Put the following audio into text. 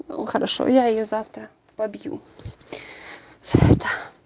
ну хорошо я её завтра побью за это